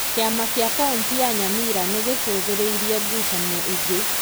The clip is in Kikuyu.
Kĩama kĩa kauntĩ ya Nyamira nĩ gĩcũthĩrĩirie ngucanio ĩngĩ.